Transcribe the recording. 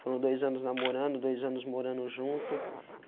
Foram dois anos namorando, dois anos morando junto.